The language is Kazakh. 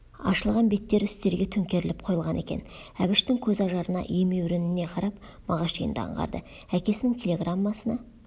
ашылған беттері үстелге төңкеріліп қойылған екен әбіштің көз ажарына емеурініне қарап мағаш енді аңғарды әкесінің телеграммасына